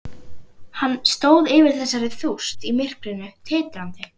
Hann stóð yfir þessari þúst í myrkrinu, titrandi.